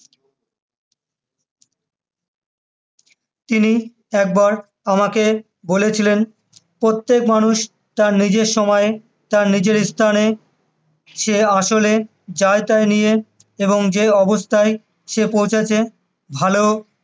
তিনি একবার আমাকে বলেছিলেন, প্রত্যেক মানুষ তার নিজের সময়, তার নিজের স্থানে, সে আসলে যা তা নিয়ে এবং যা অবস্থায় সে পৌঁছেছে, ভালো